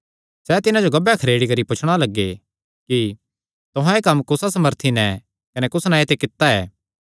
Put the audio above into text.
सैह़ तिन्हां जो गब्बैं खरेड़ी करी पुछणा लग्गे कि तुहां एह़ कम्म कुसा सामर्थी नैं कने कुस नांऐ ते कित्ता ऐ